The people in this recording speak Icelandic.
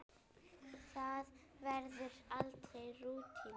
Það verður aldrei rútína.